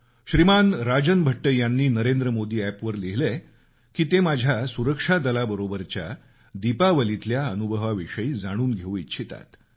श्रीमान राजन भट्ट यांनी नरेंद्र मोदी अॅपवर लिहिलंय की ते माझ्या सुरक्षा दलाबरोबरच्या दीपावलीतल्या अनुभवाविषयी जाणून घेऊ इच्छितात